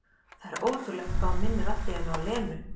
Það er ótrúlegt hvað hún minnir allt í einu á Lenu.